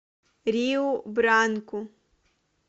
риу бранку